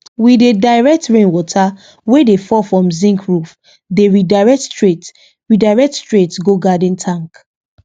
we dey direct rain water wey dey fall from zinc roof dey redirect straight redirect straight go garden tank